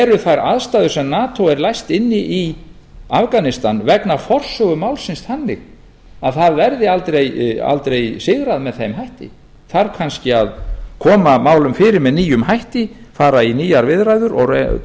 eru þær aðstæður sem nato er læst inni í í afganistan vegna forsögu málsins þannig að það verði aldrei sigrað með þeim hætti þarf kannski að koma málum fyrir með nýjum hætti fara í nýjar viðræður